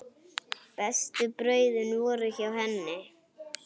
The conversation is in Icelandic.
Bestu brauðin voru hjá henni.